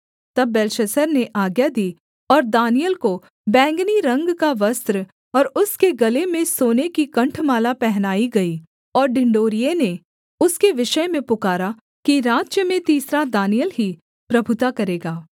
तब बेलशस्सर ने आज्ञा दी और दानिय्येल को बैंगनी रंग का वस्त्र और उसके गले में सोने की कण्ठमाला पहनाई गई और ढिंढोरिये ने उसके विषय में पुकारा कि राज्य में तीसरा दानिय्येल ही प्रभुता करेगा